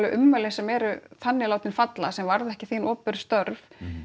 ummæli sem eru þannig falla sem varða ekki þín opinberu störf